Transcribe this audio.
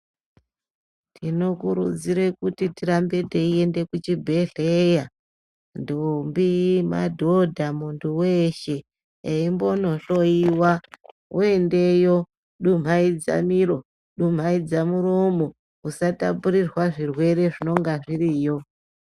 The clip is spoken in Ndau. Tinokurudzire kuti tirambe teiende kuchibhedhleya ntombi ,madhodha muntu weshe eimbonohloyiwa. Woendeyo dumhaidza miro dumhaidza muromo usatapurirwa zvirwere zvinonga zviriyo.